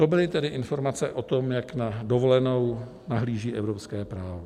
To byly tedy informace o tom, jak na dovolenou nahlíží evropské právo.